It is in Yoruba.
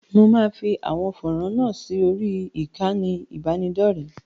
Mo máa fi à̀wọn fọ́rán náà sí orí ìkànnì ìbánidọ́rẹ̀ẹ́.